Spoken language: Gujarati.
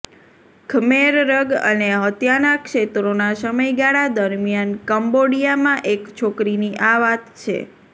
ખ્મેર રગ અને હત્યાના ક્ષેત્રોના સમયગાળા દરમિયાન કંબોડિયામાં એક છોકરીની આ વાત છે